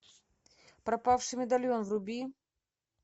пропавший медальон вруби